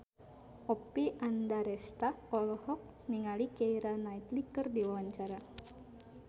Oppie Andaresta olohok ningali Keira Knightley keur diwawancara